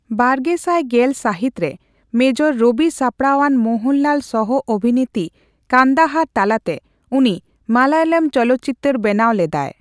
᱒᱐᱑᱐ ᱵᱟᱨᱜᱮᱥᱟᱭ ᱜᱮᱞ ᱥᱟᱦᱤᱛ ᱨᱮ ᱢᱮᱡᱚᱨ ᱨᱚᱵᱤ ᱥᱟᱯᱲᱟᱣᱟᱱ ᱢᱳᱦᱚᱱᱞᱟᱞ ᱥᱚᱦᱚᱼ ᱟᱵᱷᱤᱱᱤᱛᱤ ᱠᱟᱱᱫᱟᱦᱟᱨ ᱛᱟᱞᱟᱛᱮ ᱩᱱᱤ ᱢᱟᱞᱞᱟᱭᱚᱢ ᱪᱚᱞᱚ ᱪᱤᱛᱟᱹᱨ ᱵᱮᱱᱟᱣ ᱞᱮᱱᱟᱭ ᱾